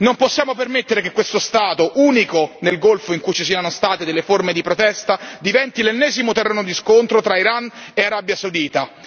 Non possiamo permettere che questo Stato, unico nel Golfo in cui ci siano state delle forme di protesta, diventi l'ennesimo terreno di scontro tra Iran e Arabia Saudita.